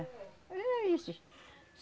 Era isso.